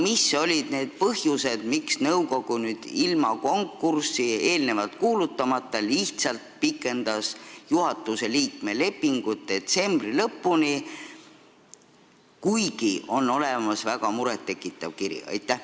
Mis olid need põhjused, miks nõukogu ilma konkurssi välja kuulutamata lihtsalt pikendas juhatuse liikme lepingut detsembri lõpuni, kuigi on olemas see väga muret tekitav kiri?